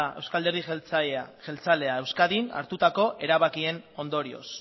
eusko alderdi jeltzalea euskadin hartutako erabakien ondorioz